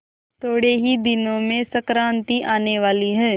थोड़े ही दिनों में संक्रांति आने वाली है